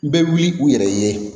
N bɛ wuli u yɛrɛ ye